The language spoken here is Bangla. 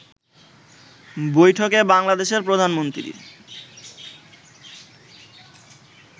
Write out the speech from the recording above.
বৈঠকে বাংলাদেশের প্রধানমন্ত্রী